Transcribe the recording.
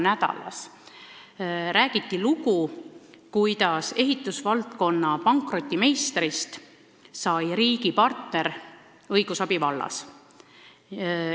Nädal" loo sellest, kuidas ehitusvaldkonna pankrotimeistrist sai riigi partner õigusabi vallas.